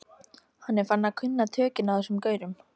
Hann er farinn að kunna tökin á þessum gaurum.